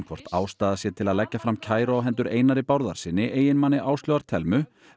hvort ástæða sé til að leggja fram kæru á hendur Einari Bárðarsyni eiginmanni Áslaugar Thelmu